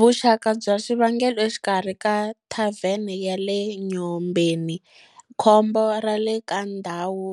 Vuxaka bya swivangelo exikarhi ka thavene ya le Enyobeni, khombo ra le ka ndhawu